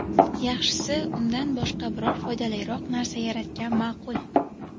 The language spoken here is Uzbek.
Yaxshisi, undan boshqa biror foydaliroq narsa yaratgan ma’qul.